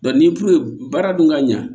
ni baara dun ka ɲa